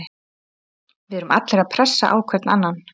Við erum allir að pressa á hvern annan.